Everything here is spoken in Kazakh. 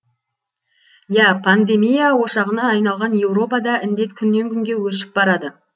иә пандемия ошағына айналған еуропада індет күннен күнге өршіп барады